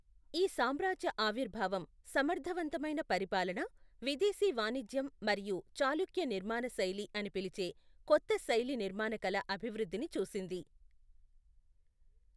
ఈ సామ్రాజ్య ఆవిర్భావం సమర్థవంతమైన పరిపాలన, విదేశీ వాణిజ్యం మరియు చాళుక్య నిర్మాణశైలి అని పిలిచే కొత్త శైలి నిర్మాణకళ అభివృద్ధిని చూసింది.